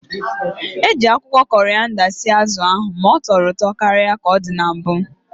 Eji akwụkwọ korịanda sie azụ ahụ ma tọrọ ụtọ karịa ka ọ dị na mbụ